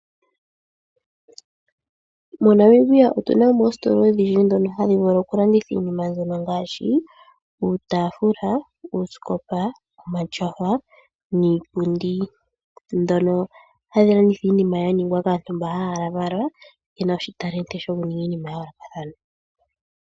MoNamibia otu na mo oositola odhindji ndhono hadhi vulu okulanditha iinima mbyono ngaashi uutafuula, uusikopa, omatyofa niipundi. Ndhono hadhi landitha iinima ya ningwa kaantu mbono haya valwa ye na oshitalenti shokuninga iinima ya yoolokathana.